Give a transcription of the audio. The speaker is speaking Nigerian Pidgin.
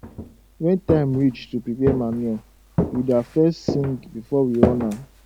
when time reach to prepare manure we da fes sing before we run am